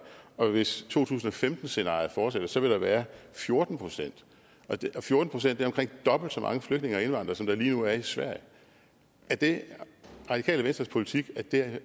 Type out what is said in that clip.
og hvis to tusind og femten scenariet fortsætter vil der være fjorten procent fjorten procent er omkring dobbelt så mange flygtninge og indvandrere som der lige nu er i sverige er det radikale venstres politik